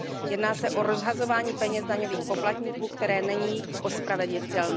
Jedná se o rozhazování peněz daňových poplatníků, které nelze ospravedlnit.